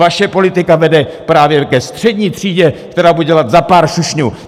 Vaše politika vede právě ke střední třídě, která bude dělat za pár šušňů!